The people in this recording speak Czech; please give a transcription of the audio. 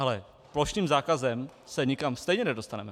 Ale plošným zákazem se nikam stejně nedostaneme.